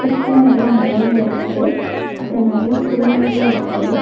சுத்தி நெறைய மரோங்க இருக்கு அப்றோ நெறைய புல்லுங்ளு இருக்கு.